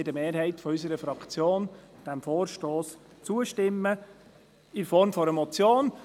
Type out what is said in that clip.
Deshalb wird eine Mehrheit unserer Fraktion diesem Vorstoss in Form einer Motion zustimmen.